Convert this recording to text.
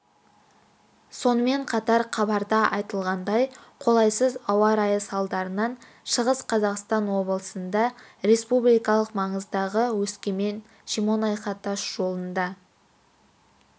сонымен қатар хабарда айтылғандай қолайсыз ауа райы салдарынан шығыс қазақстан облысында республикалық маңыздағы өскемен-шемонаиха тас жолында